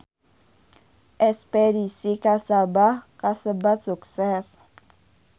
Espedisi ka Sabah kasebat sukses